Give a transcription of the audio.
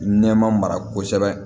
Nɛma mara kosɛbɛ